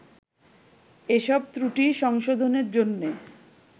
এসব ত্রুটি সংশোধনের জন্যে